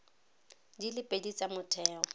di le pedi tsa motheo